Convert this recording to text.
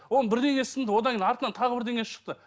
оның бірдеңесі сынды одан кейін артынан тағы бірдеңесі шықты